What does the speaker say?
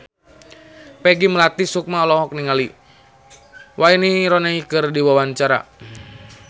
Peggy Melati Sukma olohok ningali Wayne Rooney keur diwawancara